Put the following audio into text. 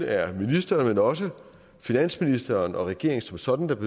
er ministeren men også finansministeren og regeringen som sådan der